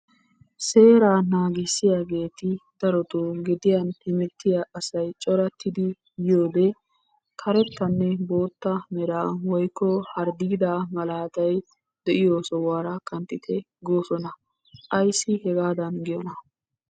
Seeraa naagissiyageeti darotoo gediyan hemettiya asay corattidi yiyode karettanne bootta meraa woyikko harddiidaa malaatay de'iyo sohuwaara kanttite goosona. Ayissi hegaadan giyoonaa?